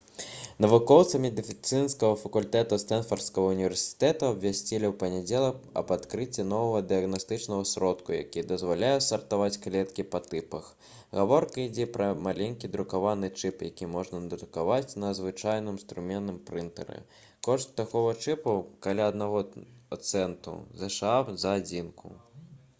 навукоўцы медыцынскага факультэту стэнфардскага ўніверсітэту абвясцілі ў панядзелак аб адкрыцці новага дыягнастычнага сродку які дазваляе сартаваць клеткі па тыпах гаворка ідзе пра маленькі друкаваны чып які можна надрукаваць на звычайным струменным прынтары кошт такога чыпу каля аднаго цэнту зша за адзінку